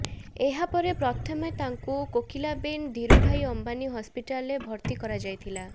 ଏହା ପରେ ପ୍ରଥମେ ତାଙ୍କୁ କୋକିଲାବେନ୍ ଧିରୁଭାଇ ଅମ୍ବାନି ହସ୍ପିଟାଲରେ ଭର୍ତ୍ତି କରାଯାଇଥିଲା